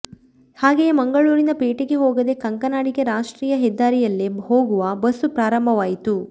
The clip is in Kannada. ಹಾಗೆಯೇ ಮಂಗಳೂರಿನ ಪೇಟೆಗೆ ಹೋಗದೆ ಕಂಕನಾಡಿಗೆ ರಾಷ್ಟ್ರೀಯ ಹೆದ್ದಾರಿಯಲ್ಲೇ ಹೋಗುವ ಬಸ್ಸು ಪ್ರಾರಂಭವಾಯಿತು